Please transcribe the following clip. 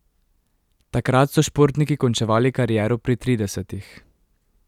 Takrat so športniki končevali kariero pri tridesetih.